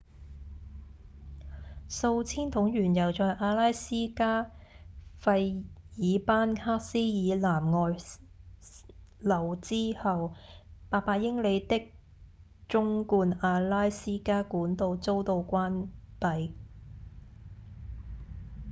數千桶原油在阿拉斯加費爾班克斯以南外漏之後800英里的縱貫阿拉斯加管道遭到關閉